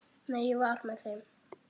Nei, ég var með þeim.